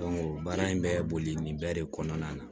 baara in bɛ boli nin bɛɛ de kɔnɔna na